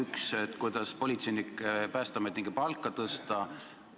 Esiteks, kuidas politseinike ja päästeametnike palka tõsta?